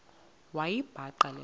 wayibhaqa le nto